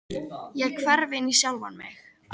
Ég hverf inn í sjálfa mig.